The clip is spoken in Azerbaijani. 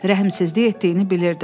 Rəhmsizlik etdiyini bilirdi.